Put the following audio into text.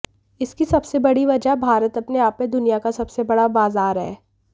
इसकी सबसे बड़ी वजह भारत अपने आप में दुनिया का सबसे बड़ा बाजार है